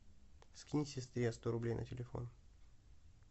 скинь сестре сто рублей на телефон